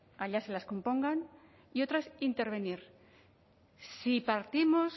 allá se las compongan y otra es intervenir si partimos